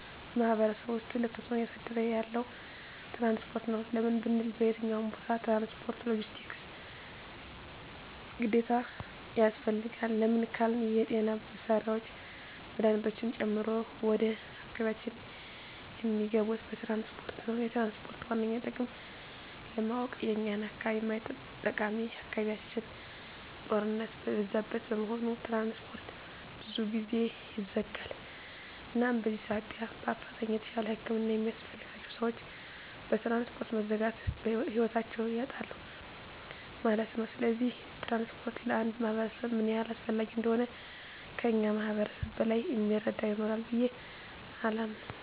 በማሕበረሰቡ ውስጥ ትልቅ ተፅዕኖ እያሳደረ ያለዉ ትራንስፖርት ነዉ። ለምን ብንል በየትኛዉም ቦታ ትራንስፖርት(ሎጀስቲክስ) ግዴታ ያስፈልጋል። ለምን ካልን የጤና መሳሪያወች መድሀኒቶችን ጨምሮ ወደ አካባቢያችን እሚገቡት በትራንስፖርት ነዉ። የትራንስፖርትን ዋነኛ ጥቅም ለማወቅ የኛን አካባቢ ማየት ጠቃሚ አካባቢያችን ጦርነት የበዛበት በመሆኑ ትራንስፖርት ብዙ ጊዜ ይዘጋል እናም በዚህ ሳቢያ በአፋጣኝ የተሻለ ህክምና የሚያስፈልጋቸዉ ሰወች በትራንስፖርት መዘጋት ህይወታቸዉን ያጣሉ ማለት ነዉ። ስለዚህ ትራንስፖርት ለአንድ ማህበረሰብ ምን ያህል አስፈላጊ እንደሆነ ከእኛ ማህበረሰብ በላይ እሚረዳ ይኖራል ብየ አላምንም።